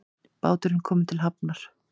Báturinn kominn til hafnar